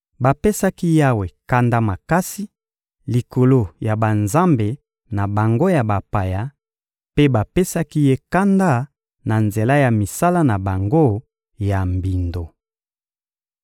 Bapesaki Yawe kanda makasi likolo ya banzambe na bango ya bapaya, mpe bapesaki Ye kanda na nzela ya misala na bango ya mbindo.